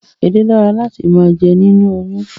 Edé dára láti máa jẹ nínú oyún